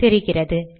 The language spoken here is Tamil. தெரிகிறது